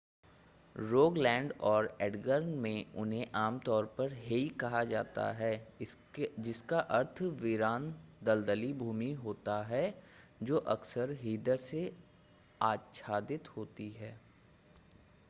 Rogaland और Agder में उन्हें आमतौर पर हेई कहा जाता है जिसका अर्थ वीरान दलदली भूमि होता है जो अक्सर हीदर से आच्छादित होती है